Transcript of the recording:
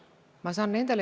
Jüri Jaanson, palun!